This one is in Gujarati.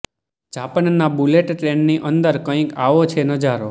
જાપાનના બુલેટ ટ્રેનની અંદર કંઇક આવો છે નજારો